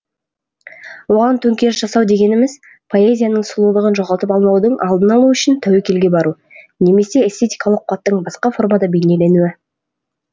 оған төңкеріс жасау дегеніміз поэзияның сұлулығын жоғалтып алмаудың алдын алу үшін тәуекелге бару немесе эстетикалық қуаттың басқа формада бейнеленуі